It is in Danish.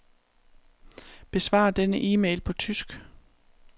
Besvar denne e-mail på tysk.